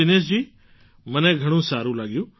દિનેશજી મને ઘણું સારું લાગ્યું